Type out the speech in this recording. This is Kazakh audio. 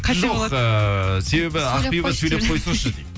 жоқ ыыы себебі ақбибі сөйлеп қойсыншы дейді